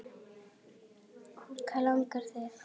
Hvað langar þig?